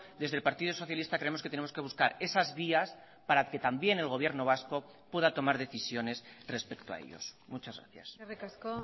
desde el partido socialista creemos que tenemos que buscar esas vías para que también el gobierno vasco pueda tomar decisiones respecto a ellos muchas gracias eskerrik asko